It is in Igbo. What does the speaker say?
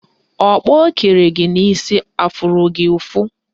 Ọkpọ o kere gị n'isi afụrụ gị ụfụ?